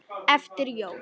og eftir jól.